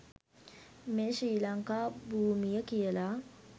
මේ ශ්‍රී ලංකා භූමිය කියලා.